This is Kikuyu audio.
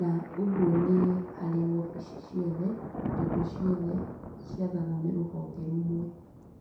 na ũguo nĩ harĩ obici ciothe tondũ ciothe ciathagwo nĩ rũhonge rũmwe.